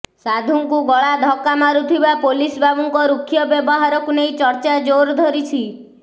ସାଧୁଙ୍କୁ ଗଳାଧକ୍କା ମାରୁଥିବା ପୋଲିସ ବାବୁଙ୍କ ରୁକ୍ଷ ବ୍ୟବହାରକୁ ନେଇ ଚର୍ଚ୍ଚା ଜୋର ଧରିଛି